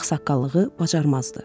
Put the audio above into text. Ağsaqqallığı bacarmazdı.